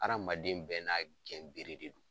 Adamaden bɛɛ n'a ka gɛn bere de don.